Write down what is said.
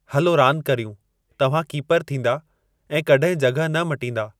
हलो रांदि कर्यूं तव्हां कीपरु थींदा ऐं कॾहिं जॻहि न मटींदा